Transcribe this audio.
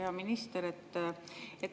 Hea minister!